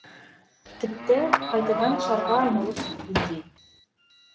тіпті қайтадан шарға айналып кеткендей